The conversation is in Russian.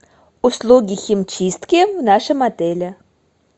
услуги химчистки в нашем отеле